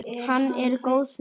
Hann var góður.